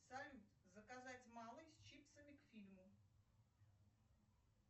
салют заказать малый с чипсами к фильму